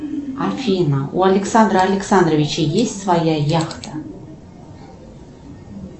афина у александра александровича есть своя яхта